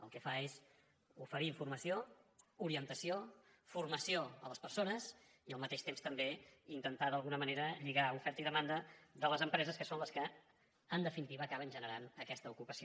el que fa és oferir formació orientació formació a les persones i al mateix temps també intentar d’alguna manera lligar oferta i demanda de les empreses que són les que en definitiva acaben generant aquesta ocupació